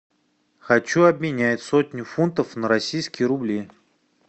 хочу обменять сотню фунтов на российские рубли